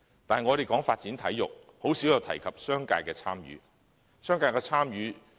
但是，我們談論發展體育時，鮮有提及商界的參與。